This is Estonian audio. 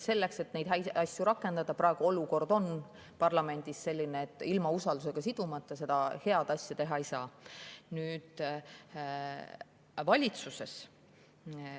Neid häid asju tuleks rakendada, aga praegu on olukord parlamendis selline, et ilma usaldus sidumata seda head asja teha ei saa.